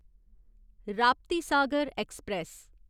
Raptisagar express